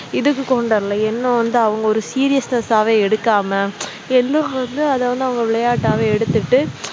இதுக்கு இன்னும் வந்து அவங்க ஒரு seriousness ஆவே எடுக்காம எந்த வந்து அதை வந்து அவங்க விளையாட்டாவே எடுத்துட்டு